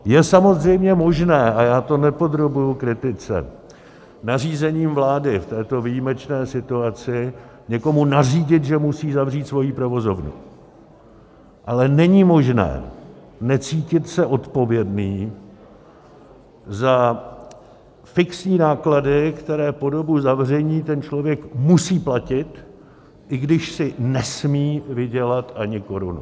Je samozřejmě možné - a já to nepodrobuji kritice - nařízením vlády v této výjimečné situaci někomu nařídit, že musí zavřít svoji provozovnu, ale není možné necítit se odpovědný za fixní náklady, které po dobu zavření ten člověk musí platit, i když si nesmí vydělat ani korunu.